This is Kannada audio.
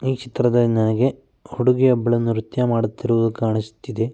ಈ ಚಿತ್ರದಲ್ಲಿ ನನಗೆ ಹುಡುಗಿಯೊಬ್ಬಳು ನೃತ್ಯ ಮಾಡುತ್ತಿರುವುದು ಕಾಣಿಸುತ್ತಿದೆ.